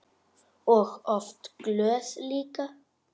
Og oft glöð líka.